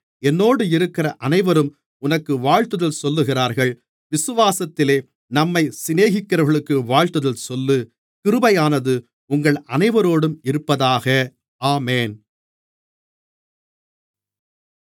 என்னோடு இருக்கிற அனைவரும் உனக்கு வாழ்த்துதல் சொல்லுகிறார்கள் விசுவாசத்திலே நம்மைச் சிநேகிக்கிறவர்களுக்கு வாழ்த்துதல் சொல்லு கிருபையானது உங்கள் அனைவரோடும் இருப்பதாக ஆமென்